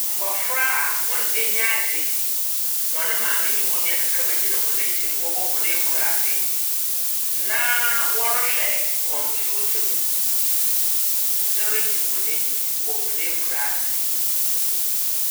Mbɔfra a hɔn enyi agye. Hɔn maame ne hɔn nua kakraba gyina hɔn akyir wɔ hɔn akuraase na wɔrehwɛ computer mu dze regye hɔn enyi wɔ hɔn ekuraase.